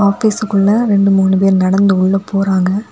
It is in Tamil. ஆபீஸ்க்குள்ள ரெண்டு மூணு பேர் நடந்து உள்ள போறாங்க.